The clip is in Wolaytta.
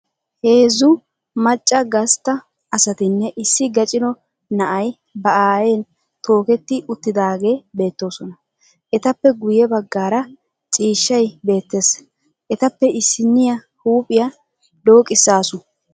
Heezzu macca gastta asatinne issi gacino na'ay ba aayen tooketti uttiidaagee beettoosona. Etappe guyye baggaara ciishshay beettes. Etappe issinniya huuphiya dooqissaasu.